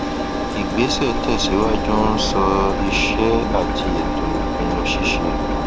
ìgbésẹ tẹsíwájú ń sọ ìṣe àti ètò ìpinnu ṣíṣe